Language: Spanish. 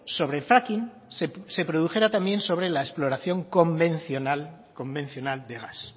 sobre fracking se produjera también sobre la exploración convencional convencional de gas